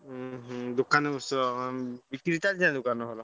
ଉହୁଁ ଦୋକାନରେ ବସିଛ। ବିକ୍ରି ଚାଲିଛି ନା ଦୋକାନ ରେ ଭଲ?